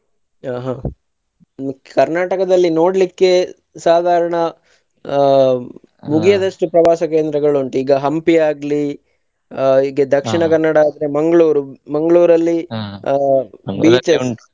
ಹಾ ಹಾ Karnataka ದಲ್ಲಿ ನೋಡ್ಲಿಕ್ಕೆ ಸಾದಾರಣ ಆ ಪ್ರವಾಸ ಕೇಂದ್ರಗಳು ಉಂಟು. ಈಗಾ Hampi ಆಗ್ಲಿ ಆ ಈಗ ಆದ್ರೆ Mangalore ಆ .